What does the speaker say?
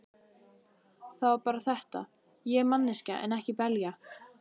Það var bara þetta: Ég er manneskja en ekki belja.